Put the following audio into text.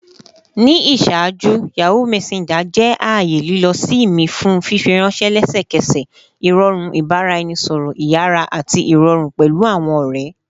Ni iṣaaju, Yahoo Messenger jẹ aaye lilọ-si mi fun fifiranṣẹ lẹsẹkẹsẹ, irọrun ibaraẹnisọrọ iyara ati irọrun pẹlu awọn ọrẹ